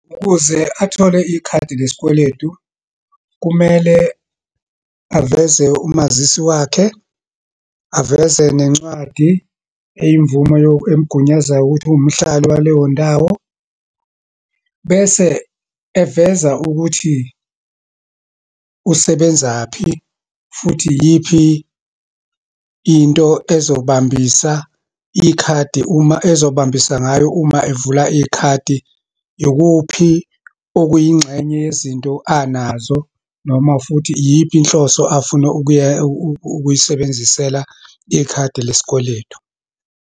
Ukuze athole ikhadi lesikweletu, kumele aveze umazisi wakhe, aveze nencwadi eyimvumo emgunyazayo ukuthi uwumhlali waleyondawo, bese eveza ukuthi usebenzaphi, futhi iyiphi into ezobambisa ikhadi, uma ezobambisa ngayo uma evula ikhadi, ikuphi okuyingxenye yezinto anazo, noma futhi iyiphi inhloso afuna ukuyisebenzisela ikhadi lesikweletu.